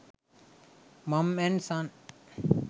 mom and son